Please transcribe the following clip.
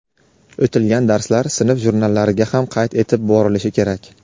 O‘tilgan darslar sinf jurnallariga ham qayd etib borilishi kerak.